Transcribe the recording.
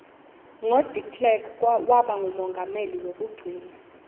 ngo deklerk wabangumongameli kwekugcina